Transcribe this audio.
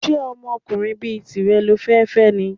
Ṣé ọkùnrin bí tìrẹ lo fẹ́ fẹ́ ni?